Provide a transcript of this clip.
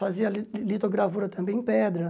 Fazia li litogravura também em pedra.